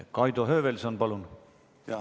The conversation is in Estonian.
Kaido Höövelson, palun!